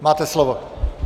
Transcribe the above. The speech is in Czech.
Máte slovo.